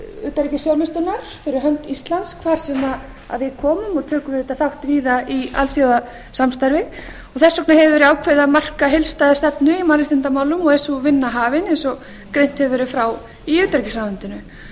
utanríkisþjónustunnar fyrir hönd íslands hvar sem við komum og tökum auðvitað þátt víða í alþjóðasamstarfi þess vegna hefur verið ákveðið að marka heildstæða stefnu í mannréttindamálum og er sú vinna hafin eins og greint hefur verið frá í utanríkisráðuneytinu stefnt er